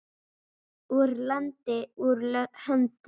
Úr landi, úr höndum.